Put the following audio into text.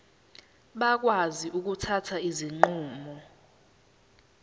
bakwazi ukuthatha izinqumo